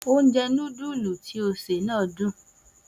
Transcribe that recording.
Oúnjẹ noodle tí ó ṣè náà dùn